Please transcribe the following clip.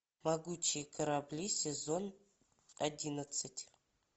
могучие корабли сезон одиннадцать